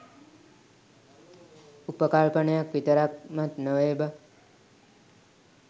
උපකල්පනයක් විතරක්මත් නොවේ බං